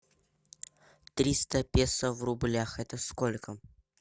триста песо в рублях это сколько